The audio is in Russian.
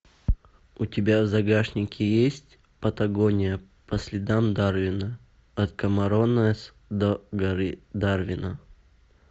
у тебя в загашнике есть патагония по следам дарвина от камаронес до горы дарвина